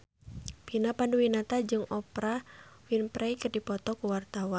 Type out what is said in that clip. Vina Panduwinata jeung Oprah Winfrey keur dipoto ku wartawan